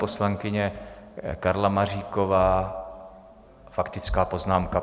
Poslankyně Karla Maříková, faktická poznámka.